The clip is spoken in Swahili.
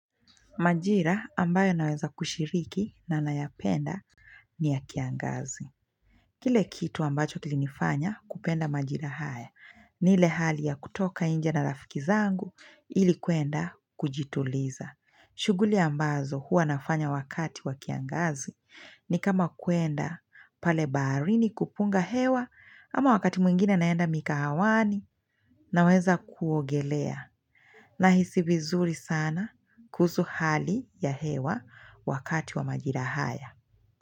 Majira ambayo naweza kushiriki na nayapenda ni ya kiangazi. Kile kitu ambacho kilinifanya kupenda majira haya. Ni ile hali ya kutoka nje na rafiki zangu ili kuenda kujituliza. Shughuli ambazo huwa nafanya wakati wa kiangazi ni kama kuenda pale baharini kupunga hewa ama wakati mwingine naenda mikahawani naweza kuogelea. Nahisi vizuri sana kuhusu hali ya hewa wakati wa majira haya.